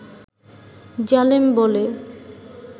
জালেম বলে